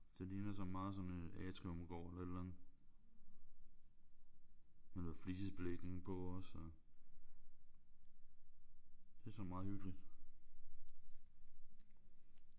Det ligner sådan meget sådan en atriumgård eller et eller andet. Med noget flisebelægning på også. Det er sådan meget hyggeligt